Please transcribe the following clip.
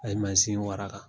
A ye mansin waraka